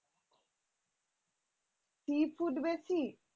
sea food বেশি?